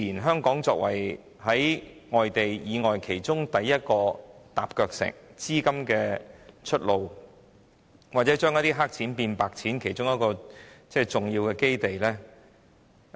香港作為內地對外的第一個"踏腳石"，自然成為資金的出路，或將"黑錢"變成"白錢"的重要基地。